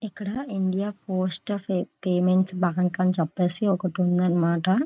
ఇక్కడ India post of payments bank అని చెప్పేసి ఒకటి ఉందన్నమాట.